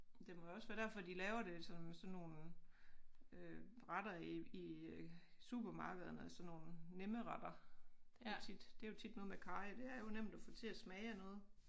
Det må også være derfor de laver det som sådan nogle øh retter i i supermarkederne sådan nogle nemme retter det jo tit det jo tit noget med karry det er jo nemt at få til at smage af noget